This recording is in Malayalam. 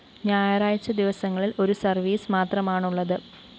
ഞായറാഴ്ച ദിവസങ്ങളില്‍ ഒരുസര്‍വീസ് മാത്രമാണുള്ളത്